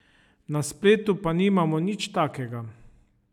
Na spletu pa nimamo nič takega.